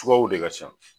Sukarow de ka ca